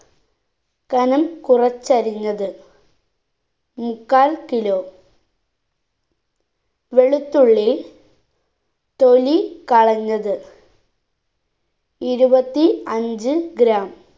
കനം കുറച്ചരിഞ്ഞത് മുക്കാൽ kilo വെളുത്തുള്ളി തൊലി കളഞ്ഞത് ഇരുപത്തി അഞ്ച്‌ gram